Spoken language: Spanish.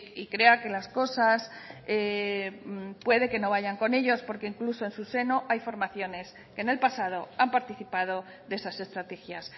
y crea que las cosas puede que no vayan con ellos porque incluso en su seno hay formaciones que en el pasado han participado de esas estrategias